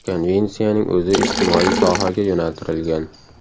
Konvensiyaning o‘zi ijtimoiy sohaga yo‘naltirilgan.